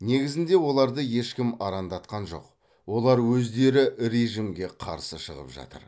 негізінде оларды ешкім арандатқан жоқ олар өздері режімге қарсы шығып жатыр